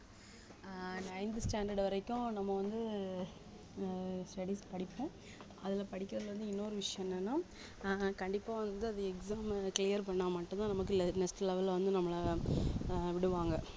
அஹ் ninth standard வரைக்கும் நம்ம வந்து ஆஹ் studies படிப்போம் அதுல படிக்கிறதுல இருந்து இன்னொரு விஷயம் என்னன்னா ஆஹ் கண்டிப்பா வந்து அது exam உ clear பண்ணா மட்டும்தான் நமக்கு le~ next level ல வந்து நம்மளை அஹ் விடுவாங்க